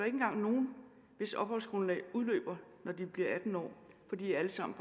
engang nogen hvis opholdsgrundlag udløber når de bliver atten år for de er alle sammen